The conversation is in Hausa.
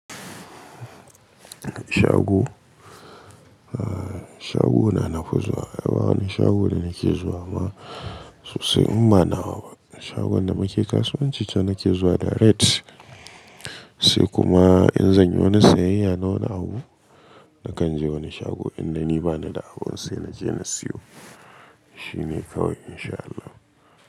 Shago, shago na nafi zuwa. Ba wani shago da nake zuwa ma sosai in ba nawa ba shagon da muke kasuwanci can nake zuwa direct. Sai kuma in zanyi wani sayayya na wani abu nakan je wani shago idan ni bani da abun sai naje na siyo. Shine kawai in sha Allah.